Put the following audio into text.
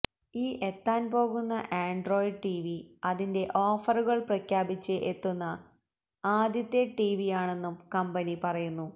ഈ എത്താന് പോകുന്ന ആന്ഡ്രോയിഡ് ടിവി അതിന്റെ ഓഫറുകള് പ്രഖ്യാപിച്ച് എത്തുന്ന ആദ്യത്തെ ടിവിയാണെന്നും കമ്പനി പറയുന്നു